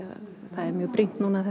það er brýnt núna að